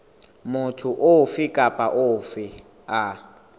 motho ofe kapa ofe a